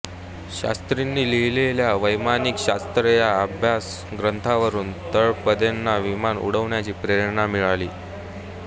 शास्त्रींनी लिहिलेल्या वैमानिक शास्त्र या अभ्यासग्रंथावरुन तळपदेंना विमान उडवण्याचा प्रेरणा मिळाली